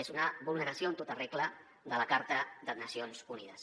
és una vulneració en tota regla de la carta de nacions unides